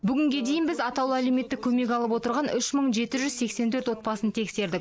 бүгінге дейін біз атаулы әлеуметтік көмек алып отырған үш мың жеті жүз сексен төрт отбасын тексердік